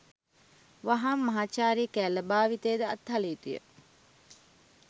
වහාම මහාචාර්ය කෑල්ල භාවිතය ද අත්හළ යුතුය